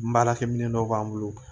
N baarakɛ minɛ dɔ b'an bolo